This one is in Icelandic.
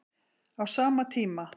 Á sama tíma